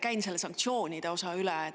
Käin selle sanktsioonide osa üle.